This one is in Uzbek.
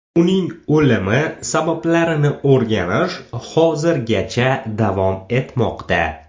Uning o‘limi sabablarini o‘rganish hozirgacha davom etmoqda.